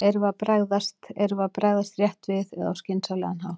Erum við að bregðast, erum við að bregðast rétt við eða á skynsamlegan hátt við?